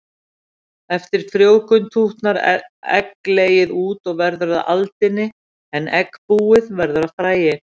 Eftir frjóvgun tútnar egglegið út og verður að aldini en eggbúið verður að fræi.